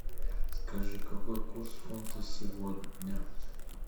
скажи какой курс фунта сегодня